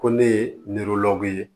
Ko ne ye ye